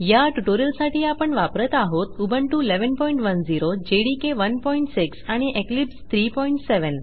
या ट्यूटोरियल साठी आपण वापरत आहोत उबुंटू 1110 जेडीके 16 आणि इक्लिप्स 37